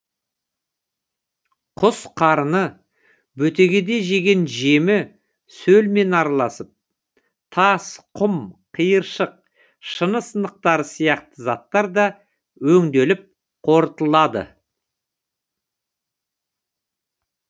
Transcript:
құс қарыны бөтегеде жеген жемі сөлмен араласып тас құм қиыршық шыны сынықтары сияқты заттар да өңделіп қорытылады